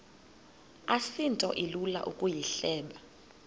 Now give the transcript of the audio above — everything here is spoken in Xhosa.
asinto ilula ukuyihleba